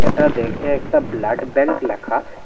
এটা দেখে একটা ব্লাড ব্যাঙ্ক ল্যাখা।